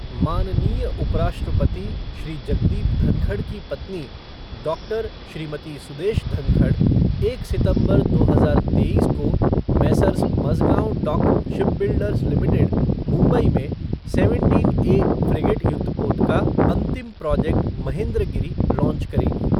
माननीय उपराष्ट्रपति श्री जगदीप धनखड़ की पत्नी डॉक्टर श्रीमती सुदेश धनखड़ एक सितंबर दो हजार तेईश को Messrs Mazagon dock shipbuilders limited, Mumbai में सेवेंटीन ए फ़्रिगेट युद्धपोत का अंतिम प्रोजेक्ट महेंद्रगिरि लांच करेंगी।